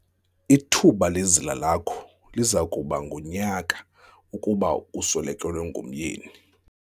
Ithuba lezila lakho liza kuba ngunyaka kuba uswelekelwe ngumyeni.